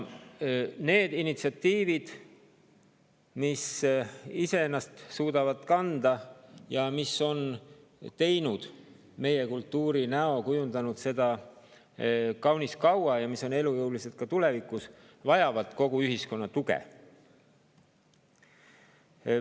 Need initsiatiivid, mis ise ennast suudavad kanda ja mis on teinud meie kultuuri näo, kujundanud seda kaunis kaua ja mis on elujõulised ka tulevikus, vajavad kogu ühiskonna tuge.